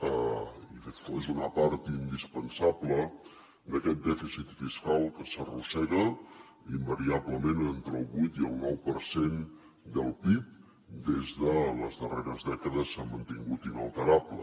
i és una part indispensable d’aquest dèficit fiscal que s’arrossega invariablement entre el vuit i el nou per cent del pib des de les darreres dècades s’ha mantingut inalterable